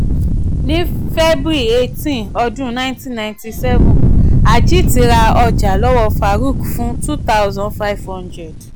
ní february eighteen ọdún nineteen ninety seven ajit ra ọjà lọ́wọ́ farook fún two thousand five hundred.